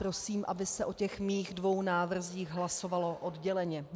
Prosím, aby se o těch mých dvou návrzích hlasovalo odděleně.